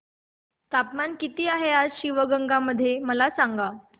तापमान किती आहे आज शिवगंगा मध्ये मला सांगा